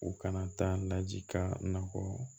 U kana taa naji ka na bɔ